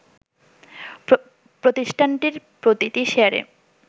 প্রতিষ্ঠানটির প্রতিটি শেয়ারে